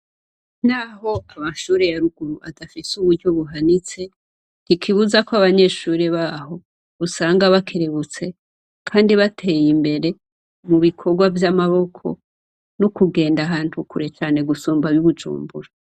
Naho amashure ya ruguru adafise uburyo buhanitse, ntikibuza ko abanyeshure baho usanga bakerebutse kandi bateye imbere mu bikogwa vy'amaboko no kugenda ahantu kure cane gusumba ab'i Bujumbura.